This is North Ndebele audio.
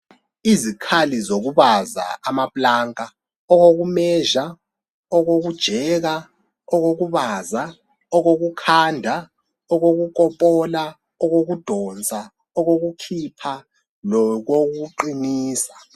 Izikhali zokubaza amaplanka, okokumezha, okokujeka, okokubaza, okokukhanda, okokukopola, okokudonsa, okokukhipha lokokuqinisa.